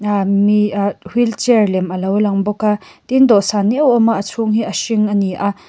ah mi ah wheelchair lem a lo lang bawk a tin dawh san euh a awm a a chhung hi a hring a ni a.